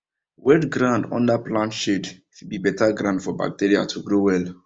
wet ground under plant shade fit be better ground for bacteria to grow well